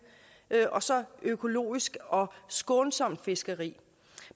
og så fisk økologisk og skånsomt fiskeri